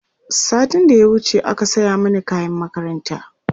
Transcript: satin da ya wuce aka saya Mani kayan makaranta